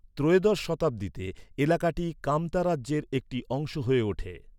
ত্রয়োদশ শতাব্দীতে, এলাকাটি কামতা রাজ্যের একটি অংশ হয়ে ওঠে।